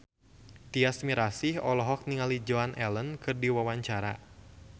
Tyas Mirasih olohok ningali Joan Allen keur diwawancara